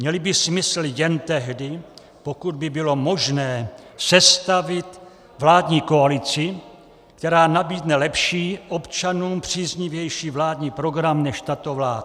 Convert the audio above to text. Měly by smysl jen tehdy, pokud by bylo možné sestavit vládní koalici, která nabídne lepší, občanům příznivější vládní program než tato vláda.